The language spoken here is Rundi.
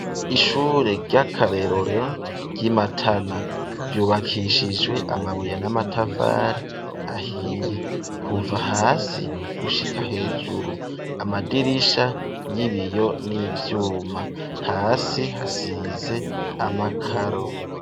Ishure ry'akarerorero ry'imatana ryubakishijwe amabuye n'amatafari ahiye kuva hasi gushika hejuru amadirisha y'ibiyo n'ivyuma hasi hasize amakaro.